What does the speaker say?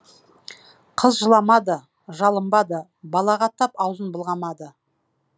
қыз жыламады жалынбады балағаттап аузын былғамады